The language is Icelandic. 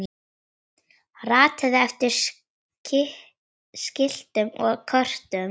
ratað eftir skiltum og kortum